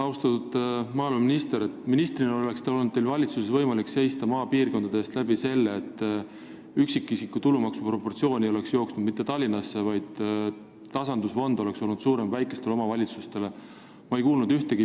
Austatud maaeluminister, teil oleks olnud võimalik ministrina valitsuses seista maapiirkondade eest nii, et üksikisiku tulumaksu proportsioon ei oleks olnud mitte Tallinna poole kaldu, vaid tasandusfond väikeste omavalitsuste tarbeks oleks olnud suurem.